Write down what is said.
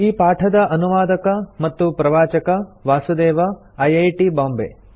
ಈ ಪಾಠದ ಅನುವಾದಕ ಮತ್ತು ಪ್ರವಾಚಕ ವಾಸುದೇವ ಐಐಟಿ ಬಾಂಬೆ